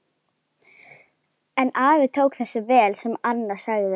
En afi tók þessu vel sem Anna sagði.